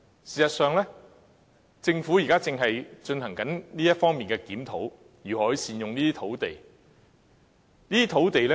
事實上，政府現時正在進行這方面的檢討，探討如何善用這些土地。